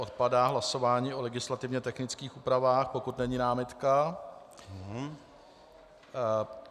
Odpadá hlasování o legislativně technických úpravách, pokud není námitka.